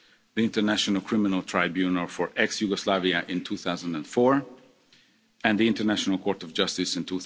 the International Criminal Tribunal for the former Yugoslavia in 2004, and the International Court of Justice